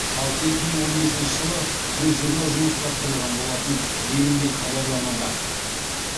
ал екі мың он бесінші жылы жүз жиырма жұмыс тапсырылған болатын делінген хабарламада